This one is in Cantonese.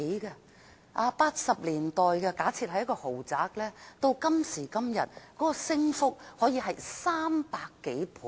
假設在1980年代的一個豪宅，至今的升幅可高達300多倍。